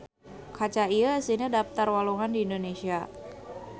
Kaca ieu eusina daptar walungan di Indonesia.